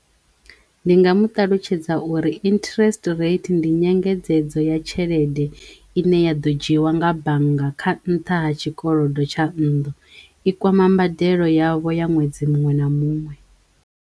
Ndi nga mu ṱalutshedza uri interest rate ndi nyengedzedzo ya tshelede ine ya ḓo dzhiwa nga bannga kha nṱha ha tshikolodo tsha nnḓu i kwama mbadelo yavho ya ṅwedzi muṅwe na muṅwe.